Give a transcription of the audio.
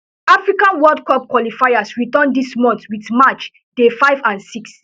african world cup qualifiers return dis month wit match day five and six